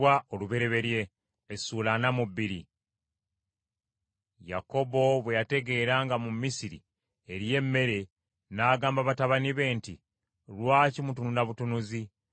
Yakobo bwe yategeera nga mu Misiri eriyo emmere, n’agamba batabani be nti, “Lwaki mutunula butunuzi?